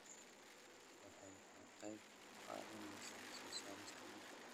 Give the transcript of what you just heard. waxay ka qayb qaadanaysaa soo saarista dhuka